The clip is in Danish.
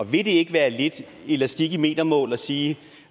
vil det ikke være lidt elastik i metermål at sige at